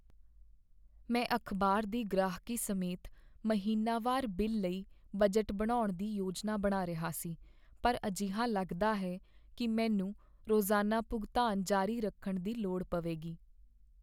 ਮੈਂ ਅਖ਼ਬਾਰ ਦੀ ਗ੍ਰਾਹਕੀ ਸਮੇਤ ਮਹੀਨਾਵਾਰ ਬਿੱਲ ਲਈ ਬਜਟ ਬਣਾਉਣ ਦੀ ਯੋਜਨਾ ਬਣਾ ਰਿਹਾ ਸੀ, ਪਰ ਅਜਿਹਾ ਲੱਗਦਾ ਹੈ ਕੀ ਮੈਨੂੰ ਰੋਜ਼ਾਨਾ ਭੁਗਤਾਨ ਜਾਰੀ ਰੱਖਣ ਦੀ ਲੋੜ ਪਵੇਗੀ।